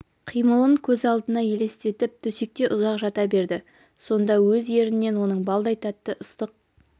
қимылын көз алдына елестетіп төсекте ұзақ жата берді сонда өз ернінен оның балдай тәтті ыстық